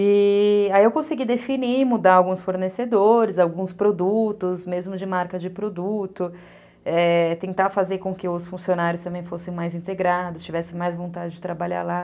E aí eu consegui definir, mudar alguns fornecedores, alguns produtos, mesmo de marca de produto, é... tentar fazer com que os funcionários também fossem mais integrados, tivessem mais vontade de trabalhar lá.